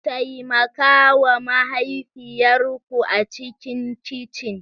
Taimaka wa mahaifiyar ku a cikin kicin!